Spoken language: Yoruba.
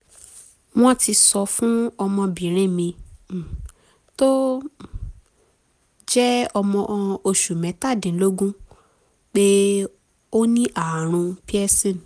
wọ́n ti sọ fún ọmọbìnrin mi um tó um jẹ́ ọmọ oṣù mẹ́tàdínlógún pé ó ní ààrùn pearson